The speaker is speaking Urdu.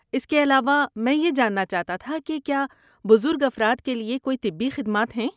اس کے علاوہ، میں یہ جاننا چاہتا تھا کہ کیا بزرگ افراد کے لیے کوئی طبی خدمات ہیں؟